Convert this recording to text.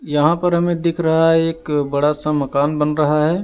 यहां पर हमें दिख रहा है एक बड़ा सा मकान बन रहा है।